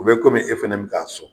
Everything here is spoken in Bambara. O bɛ komi e fɛnɛ m k'a sɔn.